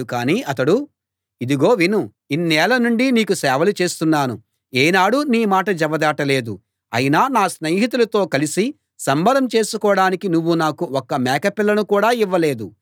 కాని అతడు ఇదిగో విను ఇన్నేళ్ళ నుండి నీకు సేవలు చేస్తున్నాను ఏనాడూ నీ మాట జవదాటలేదు అయినా నా స్నేహితులతో కలసి సంబరం చేసుకోడానికి నువ్వు నాకు ఒక్క మేకపిల్లను కూడా ఇవ్వలేదు